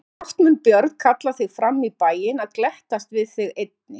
Og brátt mun Björn kalla þig fram í bæinn að glettast við þig einnig.